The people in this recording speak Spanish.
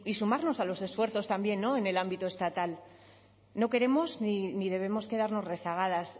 sumarnos a los esfuerzos también en el ámbito estatal no queremos ni debemos quedarnos rezagadas